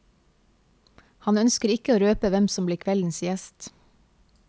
Han ønsker ikke å røpe hvem som blir kveldens gjest.